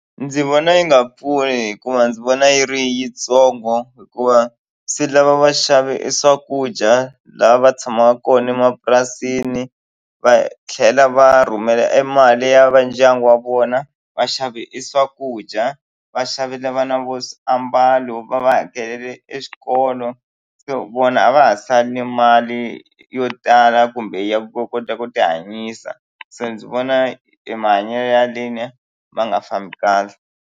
Ndzi vona yi nga pfuli hikuva ndzi vona yi ri yitsongo hikuva swi lava va xave e swakudya lava va tshamaka kona emapurasini va tlhela va rhumela e mali ya va ndyangu wa vona vaxavi i swakudya va xavela vana vo swiambalo va va hakelele exikolo so vona a va ha sale ni mali yo tala kumbe ya ku kota ku ti hanyisa se ndzi vona i mahanyelo ya leni ma nga fambi kahle.